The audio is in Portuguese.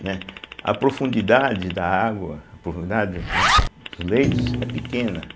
né, a profundidade da água, a profundidade, né, dos leitos é pequena.